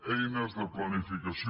eines de planificació